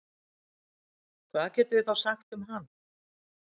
hvað getum við þá sagt um hann